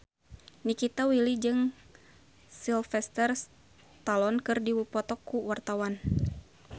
Nikita Willy jeung Sylvester Stallone keur dipoto ku wartawan